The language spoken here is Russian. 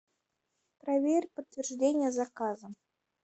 проверь подтверждение заказа